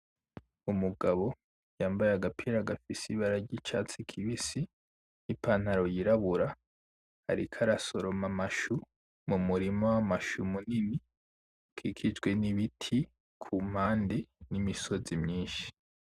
Umugabo yambaye agapira gafise ibara ry’icatsi kibisi n’ipantaro yirabura ariko arasoroma amashu ,mumurima w’amashu munini ukikijwe n’ibiti ku mpande n’imisozi myishi.